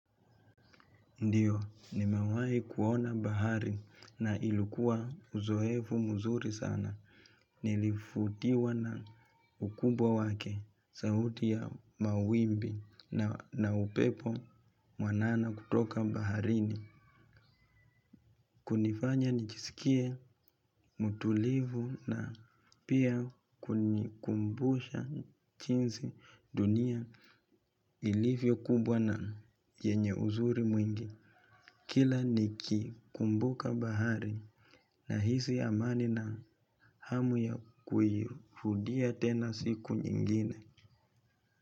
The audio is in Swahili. Ndiyo, nimewai kuona bahari na ilikuwa uzoevu mzuri sana. Nilifutiwa na ukubwa wake, sauti ya mawimbi na upepo mwanana kutoka baharini. Kunifanya nijisikie mtulivu na pia kunikumbusha jinsi dunia ilivyo kubwa na yenye uzuri mwingi. Kila nikikumbuka bahari nahisi amani na hamu ya kuihudia tena siku nyingine.